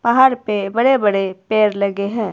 पहाड़ पे बड़े बड़े पेड़ लगे हैं।